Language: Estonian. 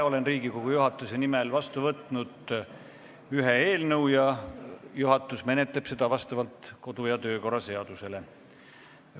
Olen Riigikogu juhatuse nimel vastu võtnud ühe eelnõu ja juhatus menetleb seda vastavalt kodu- ja töökorra seadusele.